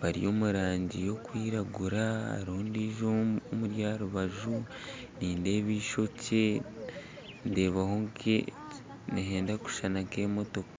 baryomurangi y'okwiragura haruho ondijo omuri aharubaju nindeeba ishokye ndebaho nke nihenda kushushana nk'emotoka .